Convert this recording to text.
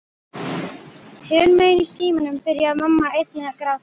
Hinum megin í símanum byrjaði mamma einnig að gráta.